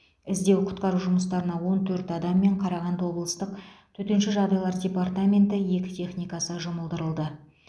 іздеу құтқару жұмыстарына он төрт адам мен қарағанды облыстық төтенше жағдайлар департаменті екі техникасы жұмылдырылды